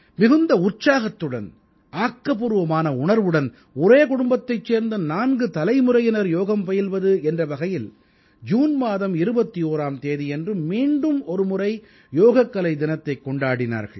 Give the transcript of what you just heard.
மிகுந்த உற்சாகத்துடன் ஆக்கப்பூர்வமான உணர்வுடன் ஒரே குடும்பத்தைச் சேர்ந்த நான்கு தலைமுறையினர் யோகம் பயில்வது என்ற வகையில் ஜூன் மாதம் 21ஆம் தேதியன்று மீண்டும் ஒருமுறை யோகக்கலை தினத்தைக் கொண்டாடினார்கள்